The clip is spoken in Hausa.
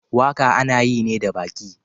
Waka ana yi ne da baki.